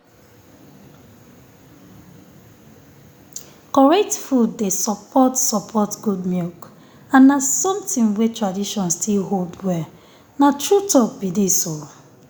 correct food dey support support good milk and na something wey tradition still hold well. na true talk be dis.